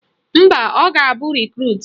Mba, ọ ga-abụ Rekrut